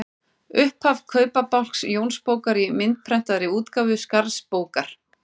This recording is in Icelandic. Upphaf Kaupabálks Jónsbókar í myndprentaðri útgáfu Skarðsbókar.